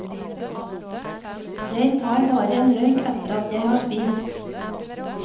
Jeg tar bare en røyk etter at jeg har spist.